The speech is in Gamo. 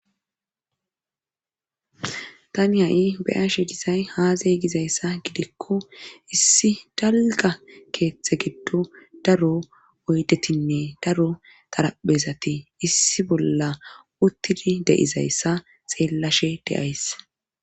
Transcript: Tani ha'i be'ashe disay azee gizayssa gidikko issi dalgga keeththe giddon daro oyddetinne daro taraphezati issi bolla uttidii de'izayssa xeellashe de'ays